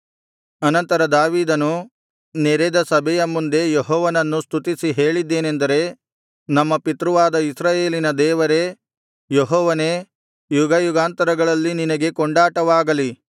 ಅನಂತರ ದಾವೀದನು ನೆರೆದ ಸಭೆಯ ಮುಂದೆ ಯೆಹೋವನನ್ನು ಸ್ತುತಿಸಿ ಹೇಳಿದ್ದೇನೆಂದರೆ ನಮ್ಮ ಪಿತೃವಾದ ಇಸ್ರಾಯೇಲಿನ ದೇವರೇ ಯೆಹೋವನೇ ಯುಗಯುಗಾಂತರಗಳಲ್ಲಿ ನಿನಗೆ ಕೊಂಡಾಟವಾಗಲಿ